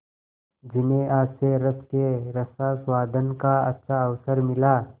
जिन्हें हास्यरस के रसास्वादन का अच्छा अवसर मिला